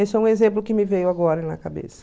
Esse é um exemplo que me veio agora na cabeça.